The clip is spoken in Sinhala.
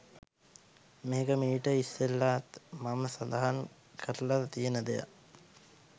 මේක මීට ඉස්සෙල්ලාත් මම සදහන් කරලා තියෙන දෙයක්.